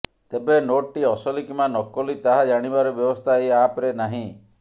ତେବେ ନୋଟଟି ଅସଲି କିମ୍ବା ନକଲି ତାହା ଜାଣିବାର ବ୍ୟବସ୍ଥା ଏହି ଆପରେ ନାହିଁ